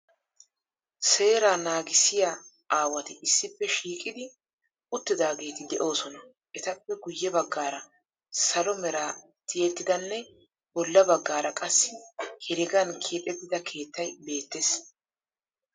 Seera naagissiya aawati issippe shiiqidi uttidaageeti de'oosona. Etappe guyye baggaara salo mera tiyettidanne bolla baggaara qassi heregan keexettida keettayi beettees.